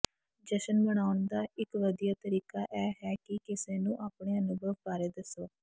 ਜਸ਼ਨ ਮਨਾਉਣ ਦਾ ਇਕ ਵਧੀਆ ਤਰੀਕਾ ਇਹ ਹੈ ਕਿ ਕਿਸੇ ਨੂੰ ਆਪਣੇ ਅਨੁਭਵ ਬਾਰੇ ਦੱਸੋ